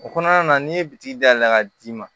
O kɔnɔna na n'i ye bitiki da yɛlɛ ka d'i ma